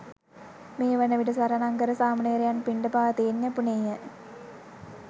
මේ වන විට සරණංකර සාමණේරයන් පිණ්ඩපාතයෙන් යැපුණේය.